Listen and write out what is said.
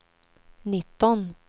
nitton